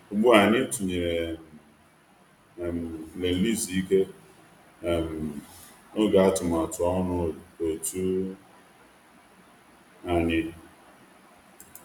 Ugbu a, anyị tinyere um "nlele izu ike" um n’oge atụmatụ ọrụ òtù anyị.